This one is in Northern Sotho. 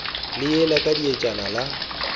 le ewa ka dietšana la